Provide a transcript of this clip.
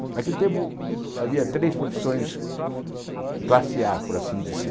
Naquele tempo, havia três profissões classe á, por assim dizer.